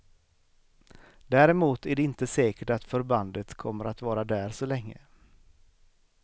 Däremot är det inte säkert att förbandet kommer att vara där så länge.